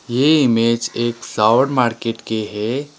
ये इमेज एक flower market के है।